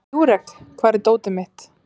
Júrek, hvar er dótið mitt?